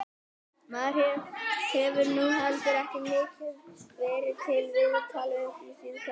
Maður hefur nú heldur ekki mikið verið til viðtals upp á síðkastið.